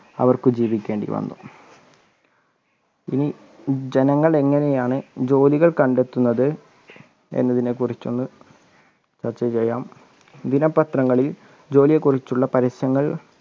അവർക്ക് ജീവിക്കേണ്ടി വന്നു. ഇനി ജനങ്ങൾ എങ്ങനെയാണ് ജോലികൾ കണ്ടെത്തുന്നത് എന്നതിനെ കുറിച്ച് ഒന്ന് ചർച്ച ചെയ്യാം ദിനപത്രങ്ങളിൽ ജോലിയെ കുറിച്ചുള്ള പരസ്യങ്ങൾ